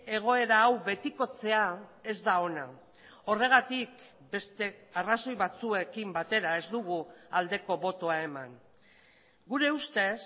egoera hau betikotzea ez da ona horregatik beste arrazoi batzuekin batera ez dugu aldeko botoa eman gure ustez